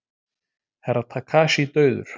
Herra Takashi dauður!